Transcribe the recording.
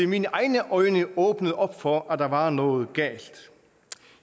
mine egne øjne åbnet op for at der var noget galt